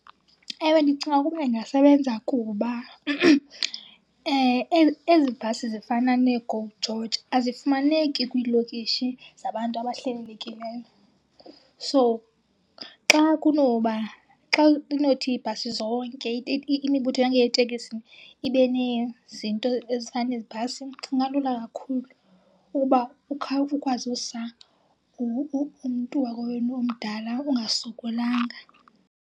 Ewe, ndicinga ukuba ingasebenza kuba ezi bhasi zifana neeGo George azifumaneki kwiilokishi zabantu abahlelelekileyo. So xa kunoba, xa kunothi iibhasi zonke, imibutho yeeteksi ibe nezinto ezifana nezi bhasi ingalula kakhulu ukuba ukwazi usa umntu wakowenu omdala ungasokolanga.